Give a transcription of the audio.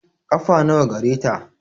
Ƙafa nawa gareta?